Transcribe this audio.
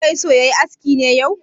Sule bai so ya yi aski ne yau?